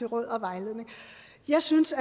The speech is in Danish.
råd og vejledning jeg synes